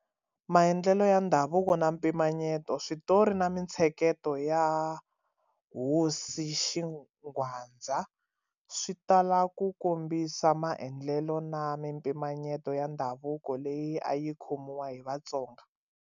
Maendlelo ya Ndhavuko na Mimpimanyeto-Switori na mintsheketo ya hosi Xingwadza swi tala ku kombisa maendlelo na mimpimanyeto ya ndhavuko leyi a yi khomiwa hi Vatsonga.